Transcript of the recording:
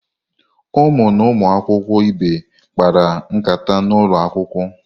Ụmụ na ụmụ akwụkwọ ibe kpara nkata n'ụlọ akwụkwọ.